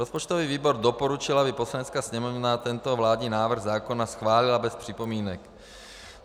Rozpočtový výbor doporučil, aby Poslanecká sněmovna tento vládní návrh zákona schválila bez připomínek.